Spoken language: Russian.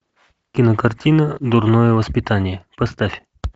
кинокартина дурное воспитание поставь